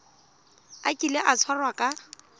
a kile a tshwarwa ka